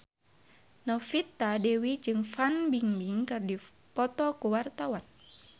Novita Dewi jeung Fan Bingbing keur dipoto ku wartawan